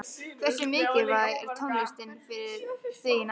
Hversu mikilvæg er tónlistin fyrir þig í náminu?